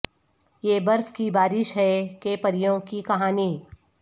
یہ برف کی بارش ہے کہ پریوں کی کہانی